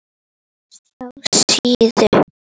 SJÁ SÍÐU.